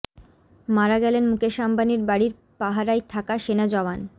মারা গেলেন মুকেশ আম্বানির বাড়ির পাহারায় থাকা সেনা জওয়ান